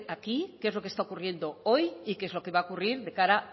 aquí qué es lo que está ocurriendo hoy y qué es lo que va a ocurrir de cara